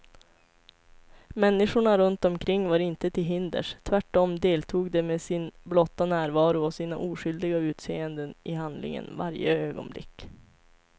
Människorna runt omkring var inte till hinders, tvärt om deltog de med sin blotta närvaro och sina oskyldiga utseenden i handlingen varje ögonblick.